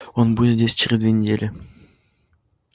он будет здесь через две недели